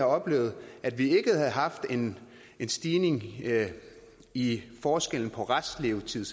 oplevet at vi ikke havde haft en stigning i forskellen på restlevetiden